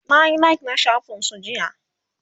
nayi like na shafin su jiya